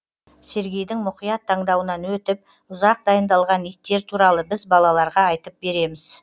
сергейдің мұқият таңдауынан өтіп ұзақ дайындалған иттер туралы біз балаларға айтып береміз